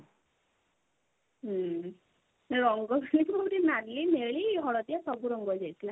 ହୁଁ ରଙ୍ଗ ଖେଳିଥିଲୁ ନାଲି ନେଳି ହଳଦିଆ ସବୁ ରଙ୍ଗ ଥିଲା